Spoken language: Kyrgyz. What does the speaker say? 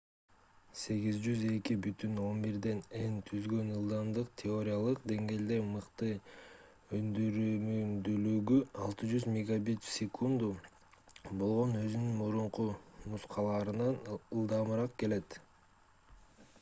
802.11n түзгөн ылдамдык теориялык деңгээлде мыкты өндүрүмдүүлүгү 600 мбит/сек. болгон өзүнүн мурунку нускаларынан ылдамыраак келет